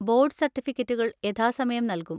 Board സർട്ടിഫിക്കറ്റുകൾ യഥാസമയം നൽകും.